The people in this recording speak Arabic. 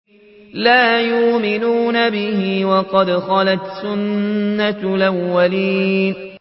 لَا يُؤْمِنُونَ بِهِ ۖ وَقَدْ خَلَتْ سُنَّةُ الْأَوَّلِينَ